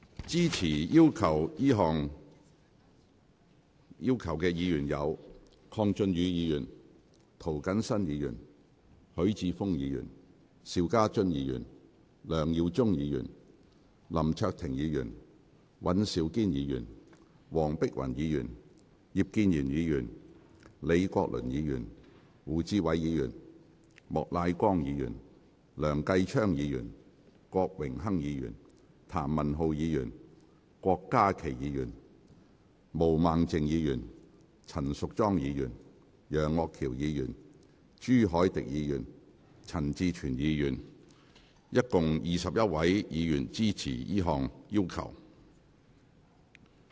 支持這項要求的議員有：鄺俊宇議員、涂謹申議員、許智峯議員、邵家臻議員、梁耀忠議員、林卓廷議員、尹兆堅議員、黃碧雲議員、葉建源議員、李國麟議員、胡志偉議員、莫乃光議員、梁繼昌議員、郭榮鏗議員、譚文豪議員、郭家麒議員、毛孟靜議員、陳淑莊議員、楊岳橋議員、朱凱廸議員及陳志全議員，即合共21位議員支持這項要求。